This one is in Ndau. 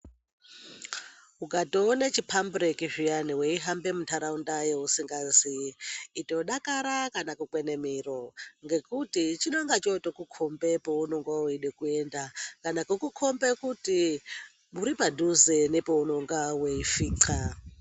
Ukatoona chipambureki zviyana weihambe muntaraunda yeusingazii itodakara kana kukwene miro ngekuti chinonga chotokukhombe paunonga weide kuenda kana kukukombe kuti uripadhize nopaunonga weisvinkxa.